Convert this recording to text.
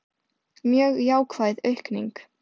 Mjög jákvæð aukning